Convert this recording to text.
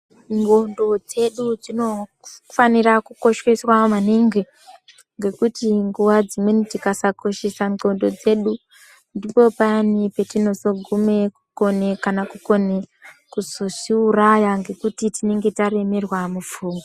Ngonxo dzedu dzinofanira kukosheswa maningi ngekuti nguwa dzimweni tikasakoshesa ngonxo dzedu ndipo payani patinozoguma kukone kana kukona kuzozviuraya nekuti tinenge taremerwa mupfungwa.